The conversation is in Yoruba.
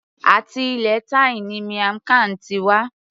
Àti ilẹ̀ thai ni miamg Khan ti wá